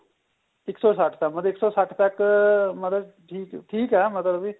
ਇੱਕ ਸੋ ਸੱਠ ਤੱਕ ਮਤਲਬ ਇੱਕ ਸੋ ਸੱਠ ਤੱਕ ਮਤਲਬ ਠੀਕ ਏ ਮਤਲਬ ਕੀ